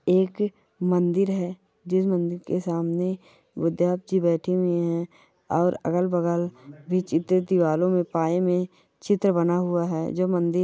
एक मंदिर हैंजिस मंदिर के सामने उधयब जी बैठे हुए हैंऔर अगल बगल विचित्र दीवालों मे पाए मे मंदिर--